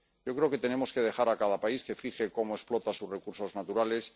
Yo creo que tenemos que dejar a cada país que fije cómo explota sus recursos naturales.